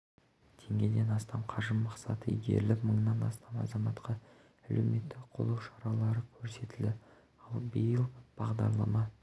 теңгеден астам қаржы мақсатты игеріліп мыңнан астам азаматқа әлеуметтік қолдау шаралары көрсетілді ал биыл бағдарлама